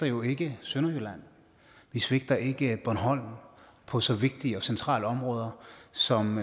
jo ikke sønderjylland vi svigter ikke bornholm på så vigtige og centrale områder som